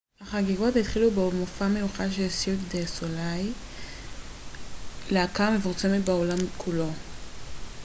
החגיגות התחילו במופע מיוחד של סירק דה סוליי להקה המפורסמת בעולם כולו